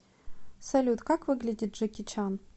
салют как выглядит джеки чан